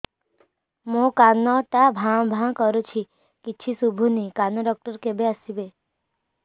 ମୋ କାନ ଟା ଭାଁ ଭାଁ କରୁଛି କିଛି ଶୁଭୁନି କାନ ଡକ୍ଟର କେବେ ଆସିବେ